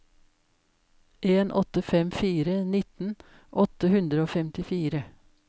en åtte fem fire nitten åtte hundre og femtifire